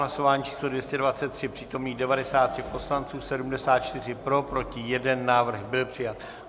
Hlasování číslo 223, přítomných 93 poslanců, 74 pro, proti 1, návrh byl přijat.